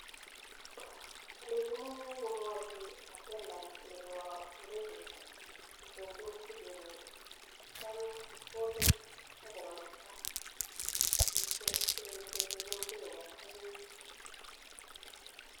Alechinii komwachii attendant nepo ndekeit kochengchi msiket nyii atya kokeny akomuita singechengchii msiket nyii atya keibchii